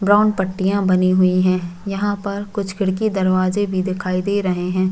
Brown पट्टियाँ बनी हुई है यहाँ पर कुछ खिड़की दरवाजे भी दिखाई दे रहै हैं।